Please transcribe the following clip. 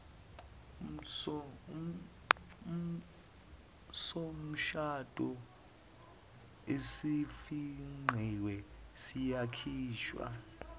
somshado esifingqiwe siyakhishwa